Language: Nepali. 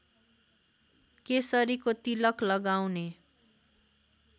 केसरीको तिलक लगाउने